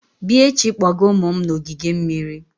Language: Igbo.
Bịa echi kpọga ụmụ m na ogige mmiri!